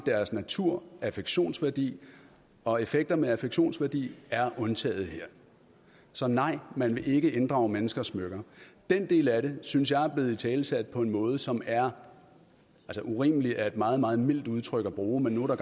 deres natur affektionsværdi og effekter med affektionsværdi er undtaget her så nej man vil ikke inddrage menneskers smykker den del af det synes jeg er blevet italesat på en måde som er urimelig hvilket er et meget meget mildt udtryk at bruge men nu er